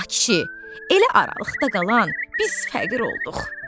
Ay kişi, elə aralıqda qalan biz fəqir olduq.